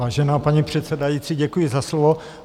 Vážená paní předsedající, děkuji za slovo.